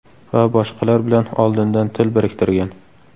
va boshqalar bilan oldindan til biriktirgan.